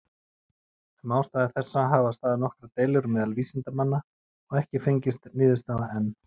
Um ástæðu þessa hafa staðið nokkrar deilur meðal vísindamanna, og ekki fengist niðurstaða enn.